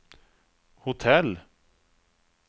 hotell